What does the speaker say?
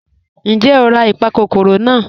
Ńjẹ́ o rà ipakòkòrò naa?